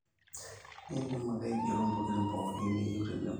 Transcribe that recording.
indim ake aigero ntokitin pooki niyieu tenebo